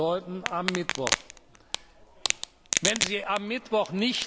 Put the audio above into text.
Das würde bedeuten, am Mittwoch.